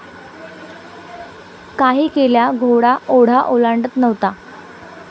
काही केल्या घोडा ओढा ओलांडत नव्हता.